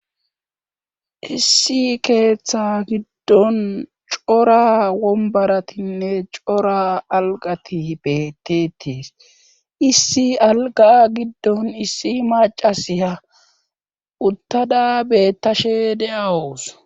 issi keeththa giddon cora wombaratinne cora alqati hbetetiis issi alga giddon issi macasi ha uttada bettashe deawos